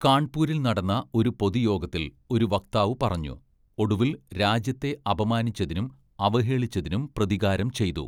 കാൺപൂരിൽ നടന്ന ഒരു പൊതുയോഗത്തിൽ ഒരു വക്താവ് പറഞ്ഞു, 'ഒടുവിൽ രാജ്യത്തെ അപമാനിച്ചതിനും അവഹേളിച്ചതിനും പ്രതികാരം ചെയ്തു.